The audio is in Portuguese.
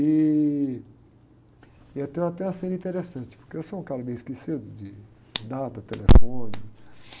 E, eu tenho até uma cena interessante, porque eu sou um cara meio esquecido de, de data, telefone.